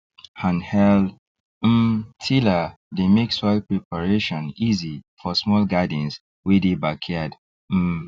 handheld um tiller dey make soil preparation easy for small gardens wey dey backyard um